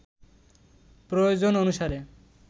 প্রয়োজন অনুসারে